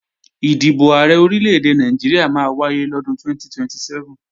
Ìdìbò Ààrẹ Orílè-èdè Nàìjíríà máa wáyé lọ́dún 2027